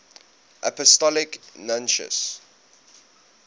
apostolic nuncios